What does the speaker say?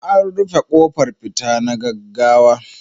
An rufe kofar fita na gaggawa.